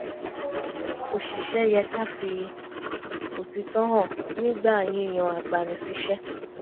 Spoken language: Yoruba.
oṣìṣẹ́ yẹ ká fi òtítọ́ hàn nígbà yíyan agbani-síṣẹ́